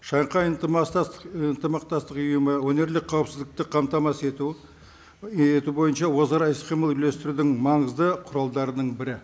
шанхай і ынтымақтастық ұйымы өңірлік қаупісздікті қамтамасыз ету ету бойынша өзара іс қимыл үйлестірудің маңызды құралдарының бірі